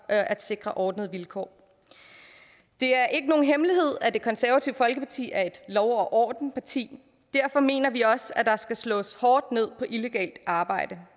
at sikre ordnede vilkår det er ikke nogen hemmelighed at det konservative folkeparti er et lov og orden parti derfor mener vi også at der skal slås hårdt ned på illegalt arbejde